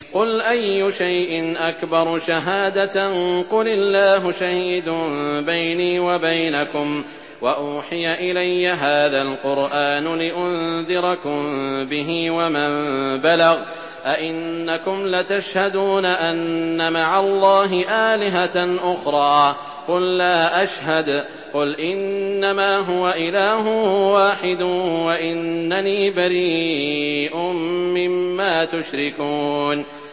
قُلْ أَيُّ شَيْءٍ أَكْبَرُ شَهَادَةً ۖ قُلِ اللَّهُ ۖ شَهِيدٌ بَيْنِي وَبَيْنَكُمْ ۚ وَأُوحِيَ إِلَيَّ هَٰذَا الْقُرْآنُ لِأُنذِرَكُم بِهِ وَمَن بَلَغَ ۚ أَئِنَّكُمْ لَتَشْهَدُونَ أَنَّ مَعَ اللَّهِ آلِهَةً أُخْرَىٰ ۚ قُل لَّا أَشْهَدُ ۚ قُلْ إِنَّمَا هُوَ إِلَٰهٌ وَاحِدٌ وَإِنَّنِي بَرِيءٌ مِّمَّا تُشْرِكُونَ